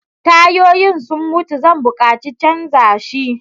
Tayoyin sun mutu Zan buƙaci Canza shi.